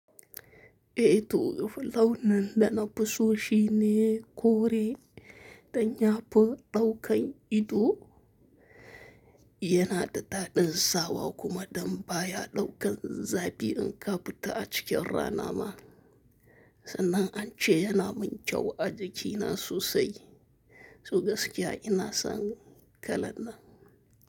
Eetu, fulawun nan da na fusoshi ne kore, dan yafu ɗaukan ido, yana da daɗin sawa kuma don baya ɗaukan zafi in ka fita a cikin rana ma. Sannan ance yana mun kyau a jikina sosai, so gaskiya ina san kalannan.